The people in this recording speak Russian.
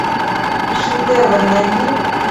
шедевр найди